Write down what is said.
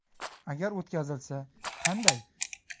Agar o‘tkazilsa, qanday?